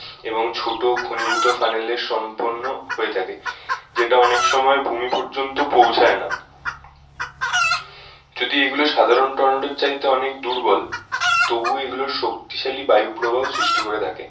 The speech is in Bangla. এবং ছোটো ঘনীভূত ফানেলে সম্পন্য হয়ে থাকে। যেটা অনেক সময় ভূমি পর্যন্ত পৌঁছায় না। যদি এগুলো সাধারণ টর্নেডোর চাইতে অনেক দুর্বল তবু এগুলো শক্তিশালী বায়ু প্রবাহ সৃষ্টি করে থাকে।